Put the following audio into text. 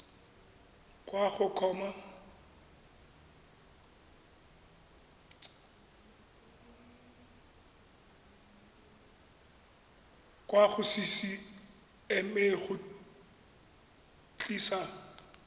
kwa go ccma go tlisa